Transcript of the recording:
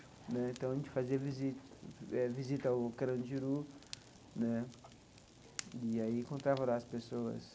Né então, a gente fazia visita eh visita ao Carandiru né e aí encontrava lá as pessoas.